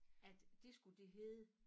At det skulle det hedde